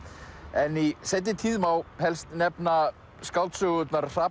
en í seinni tíð má helst nefna skáldsögurnar